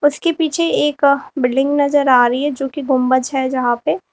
बस के पीछे एक बिल्डिंग नजर आ रही है जो कि गुंबज है यहां पे।